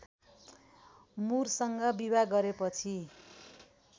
मुरसँग विवाह गरेपछि